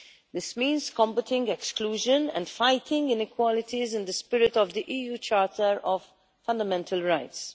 This means combating exclusion and fighting inequalities in the spirit of the EU Charter of Fundamental Rights.